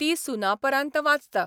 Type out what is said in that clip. ती सुनापरान्त वाचता.